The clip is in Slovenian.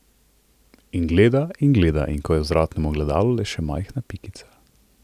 In gleda in gleda, ko je v vzvratnem ogledu le še majhna pikica.